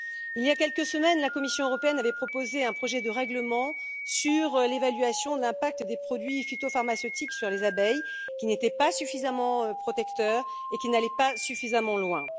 Il y a quelques semaines, la Commission européenne avait proposé un projet de règlement sur l'évaluation de l'impact des produits phytopharmaceutiques sur les abeilles, qui n'était pas suffisamment protecteur et qui n'allait pas suffisamment loin.